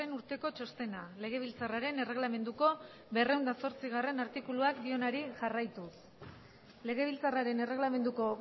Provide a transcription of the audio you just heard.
urteko txostena legebiltzarraren erregelamenduko berrehun eta zortzigarrena artikuluak dioenari jarraituz legebiltzarraren erregelamenduko